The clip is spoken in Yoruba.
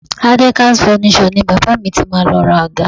Adekaz Furnitures ni bàbá mi ti máa lọ ra àga